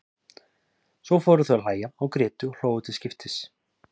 Svo fóru þau að hlæja og grétu og hlógu til skiptis.